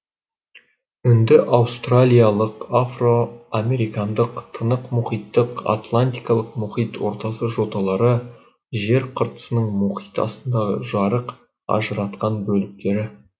үнді аустралиялық африка американдық тынық мұхиттық атлантикалық мұхит ортасы жоталары жер қыртысының мұхит астындағы жарық ажыратқан бөліктері